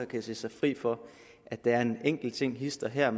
kan se sig fri for at der er en enkelt ting hist og her